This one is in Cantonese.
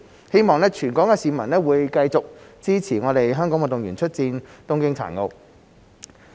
希望全港市民會繼續支持香港運動員出戰東京殘奧。